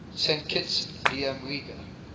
saint kitts liamuiga